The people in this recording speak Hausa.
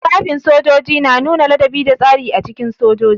Tufafin sojoji na nuna ladabi da tsari a cikin sojoji.